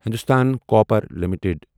Hindustan copper limited